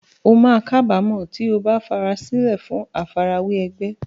O máa kábàámọ̀ tí o bá farasílẹ̀ fún àfarawé ẹgbẹ́.